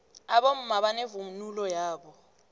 abomma banevunulo yabo